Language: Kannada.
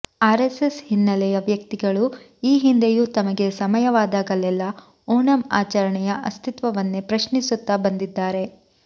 ಆರೆಸ್ಸೆಸ್ ಹಿನ್ನೆಲೆಯ ವ್ಯಕ್ತಿಗಳು ಈ ಹಿಂದೆಯೂ ತಮಗೆ ಸಮಯವಾದಗಲೆಲ್ಲಾ ಓಣಂ ಆಚರಣೆಯ ಅಸ್ತಿತ್ವವನ್ನೇ ಪ್ರಶ್ನಿಸುತ್ತಾ ಬಂದಿದ್ದಾರೆ